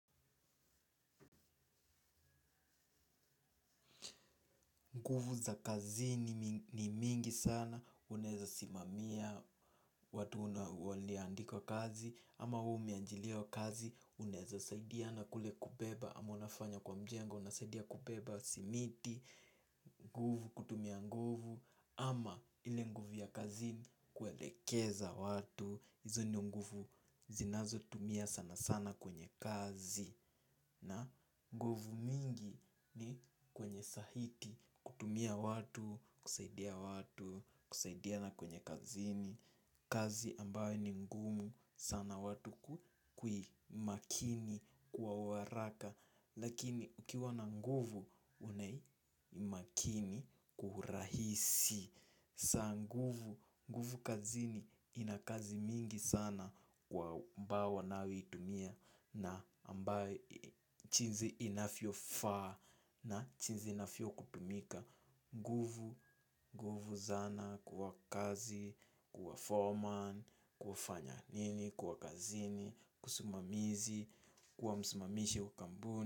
Nguvu za kazini ni mingi sana, unaeza simamia watu una waliandikwa kazi. Ama we umeajiriwa kazi, unaeza saidiana kule kubeba. Ama unafanya kwa mjengo, unasaidia kubeba simiti. Nguvu kutumia nguvu, ama ile nguvu ya kazini kuelekeza watu. Hizo ni nguvu zinazo tumia sana sana kwenye kazi. Na nguvu mingi ni kwenye sahiti kutumia watu, kusaidia watu, kusaidiana kwenye kazini. Kazi ambayo ni ngumu sana watu kui makini kwa uharaka. Lakini ukiwa na nguvu unai makini kwa uhurahisi. Saa nguvu, nguvu kazini ina kazi mingi sana kwa ambao wanaoitumia na ambaye jinsi inavyofaa na jinsi inavyokutumika. Nguvu, nguvu zana kwa kazi, kuwa foreman, kufanya nini, kuwa kazini, kusimamizi, kuwa msimamishi wa kampuni.